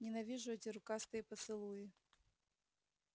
ненавижу эти рукастые поцелуи